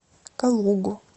калугу